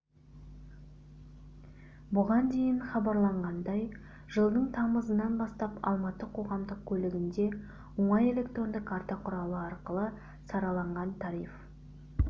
бұған дейін хабарланғандай жылдың тамызынан бастап алматы қоғамдық көлігінде оңай электронды карта құралы арқылы сараланған тариф